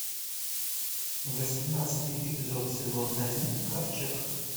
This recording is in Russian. восемнадцатый эпизод сезон один ковчег